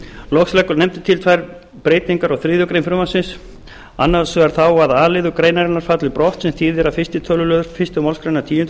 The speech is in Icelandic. loks leggur nefndin til tvær breytingar á þriðju greinar frumvarpsins annars vegar þá að a liður greinarinnar falli brott sem þýðir að fyrsta tölulið fyrstu málsgreinar tíundu